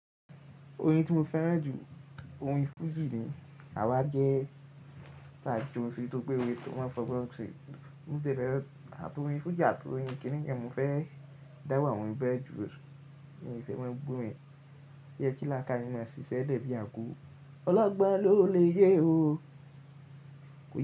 Orin tí mo fẹ́ràn jù, orin fuji ni, àwa jẹ́ tàbí ju òfin tó pé òwe tó máa fọgbọ́n sì. Ní ìbẹ̀rẹ̀, àtọ̀ orin fuji àtọ̀ orin kiní ni kí n jẹ́ mo fẹ́ dáwà ohun ibẹ̀ jù. Òòrè, èyí fẹ́ máa gbó mọ, ìyẹ́ kílàkà nínú a ṣì ṣẹ́ lẹ̀ bí àǹkóò. Ọlọ́gbọ́n ló lè yé o. Kò yẹ.